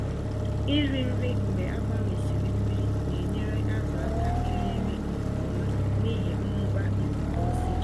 Iri nri mgbe agbanwesịrị mmiri na-enyere azụ aka iri nri nke ọma n'ihi mmụba ikuku oxygen.